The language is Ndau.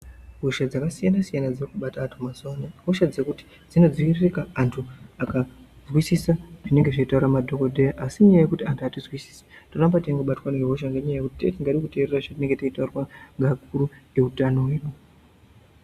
Hosha dzaka siyana siyana dziri kubata antu ma zuva ano i hosha dzekuti dzino dzi virika antu aka nzwisisa zvinenge zvei taura ma dhokoteya asi inyaya yekuti antu ati nzwisisi toramba teingo batwa ne hosha nenyaya yekuti tenge tisingadi ku teerera zvatinenge tichinda kutaurirwa ne akuru e hutano hwedu.